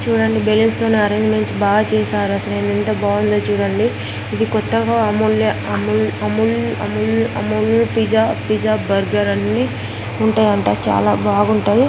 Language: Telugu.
చూడండి బెలూన్స్ తో అరేంజ్మెంట్స్ బాగా చేశారు ఎంత బాగుందో చూడండి ఇది కొత్తగా Amul Amul Amul Amul pizza pizza burger అని ఉంటాయంట చాలా బాగుంటాయ.